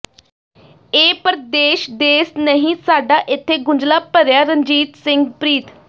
ਇਹ ਪਰਦੇਸ਼ ਦੇਸ ਨਹੀਂ ਸਾਡਾ ਏਥੇ ਗੁੰਝਲਾਂ ਬਡ਼ੀਆਂ ਰਣਜੀਤ ਸਿੰਘ ਪ੍ਰੀਤ